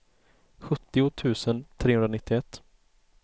sjuttio tusen trehundranittioett